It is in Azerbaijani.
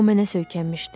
O mənə söykənmişdi.